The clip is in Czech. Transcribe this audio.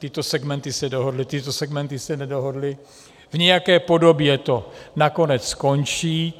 Tyto segmenty se dohodly, tyto segmenty se nedohodly, v nějaké podobě to nakonec skončí.